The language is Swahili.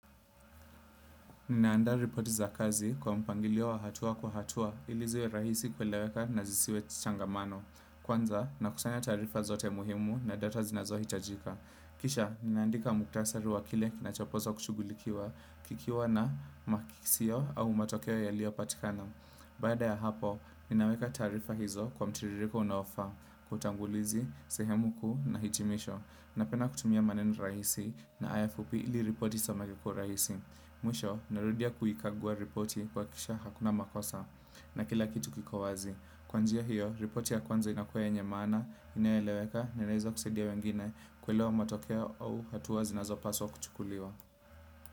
Ninaanda ripoti za kazi kwa mpangilio wa hatua kwa hatua ili ziwe rahisi kueleweka na zisiwe changamano. Kwanza nakusanya taarifa zote muhimu na data zinazohitajika. Kisha, ninaandika muktasari wa kile kinachopaswa kushughulikiwa kikiwa na makisio au matokeo yalio patikana. Baada ya hapo, ninaweka taarifa hizo kwa mtiririko unaofaa, kwa utangulizi, sehemu kuu na hitimisho. Napenda kutumia maneno rahisi na aya fupi ili ripoti isomeke kwa urahisi. Mwisho, narudia kuikagua ripoti kuhakikisha hakuna makosa. Na kila kitu kiko wazi. Kwa njia hiyo, ripoti ya kwanza inakuwa yenye maana inayoeleweka, na inaweza kusaidia wengine. Kuelewa matokeo au hatua zinazopaswa kuchukuliwa.